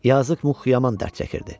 Yazıq Muq yaman dərd çəkirdi.